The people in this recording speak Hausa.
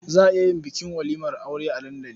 Za a iya yin bukin walimar aure a dandali.